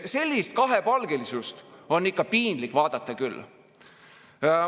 Sellist kahepalgelisust on ikka piinlik vaadata küll.